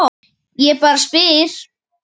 Ég bara spyr?